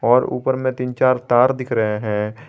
और ऊपर में तीन चार तार दिख रहे हैं।